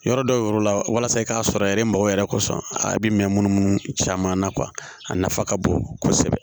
Yɔrɔ dɔw la walasa i k'a sɔrɔ yɛrɛ mago yɛrɛ kosɔn a bɛ mɛn munumunu caman na kuwa a nafa ka bon kosɛbɛ